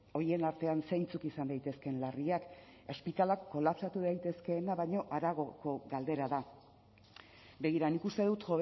horien artean zeintzuk izan daitezkeen larriak ospitaleak kolapsatu daitezkeena baino haragoko galdera da begira nik uste dut